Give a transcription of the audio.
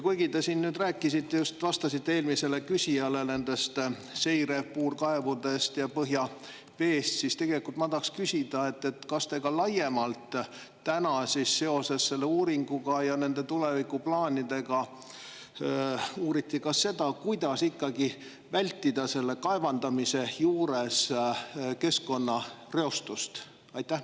Kuigi te siin nüüd rääkisite – just vastasite eelmisele küsijale – nendest seirepuurkaevudest ja põhjaveest, siis tegelikult ma tahaks küsida: kas te ka laiemalt seoses selle uuringu ja tulevikuplaanidega uurite praegu seda, kuidas ikkagi vältida kaevandamise juures keskkonnareostust?